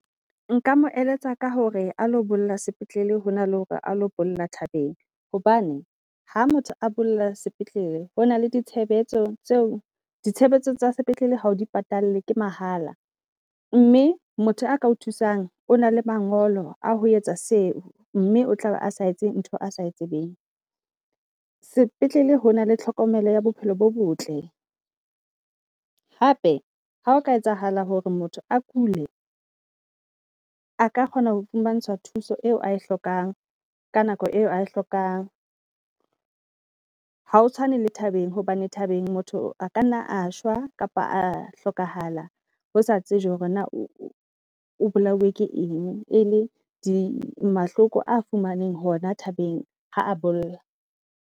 Nka mo eletsa ka hore a lo bolla sepetlele hona le hore a lo bolla thabeng hobane ha motho a bolla sepetlele, hona le ditshebetso tseo ditshebetso tsa sepetlele ha o di patalle ke mahala. Mme motho a ka o thusang o na le mangolo a ho etsa seo, mme o tlabe a sa etse ntho a sa tsebeng. Sepetlele ho na le tlhokomelo ya bophelo bo botle hape ha o ka etsahala hore motho a kule a ka kgona ho fumantshwa thuso eo a e hlokang ka nako eo a e hlokang. Hao tshwane le thabeng hobane thbeng motho a ka nna a shwa kapa a hlokahala, hosa tsejwe hore na o o bolailwe ke eng. E le di mahloko a fumanweng hona thabeng ha a bolla.